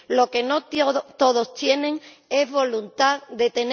tiempo. Lo que no todos tienen es voluntad